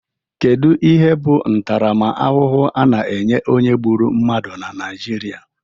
Kedu ihe bụ ntaramahụhụ a na-enye onye gbụrụ mmadụ na Naijiria?